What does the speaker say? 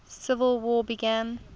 civil war began